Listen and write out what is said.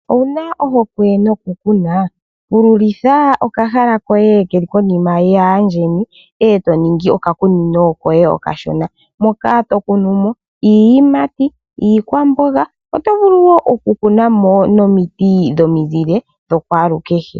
Owuna ohokwe no kuna, pululitha okahala koye keli konima yaandjeni, eto ningi okakunino koye okashona, moka tokunumo iiyiimati, iikwamboga, oto vulu woo oku kuna mo nomiti dhomizile dhokwalukehe.